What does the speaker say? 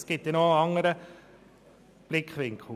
Es gibt noch einen anderen Blickwinkel: